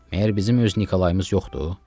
Məyər bizim öz Nikolayımız yoxdur?